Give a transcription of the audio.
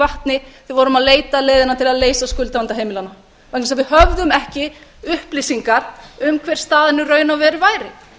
vatni þegar við vorum að leita að leiðinni til að leysa skuldavanda heimilanna vegna þess að við höfðum ekki upplýsingar um hver staðan í raun og veru væri